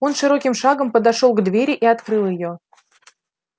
он широким шагом подошёл к двери и открыл её